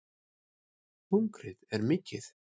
Hungrið er mikið